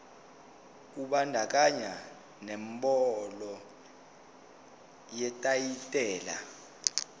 kubandakanya nenombolo yetayitela